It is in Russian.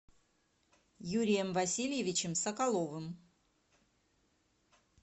юрием васильевичем соколовым